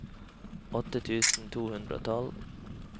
åtte tusen to hundre og tolv